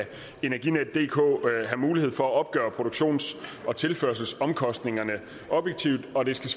energinetdk have mulighed for at opgøre produktions og tilførselsomkostningerne objektivt og det skal